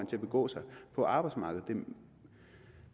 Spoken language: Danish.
til at begå sig på arbejdsmarkedet det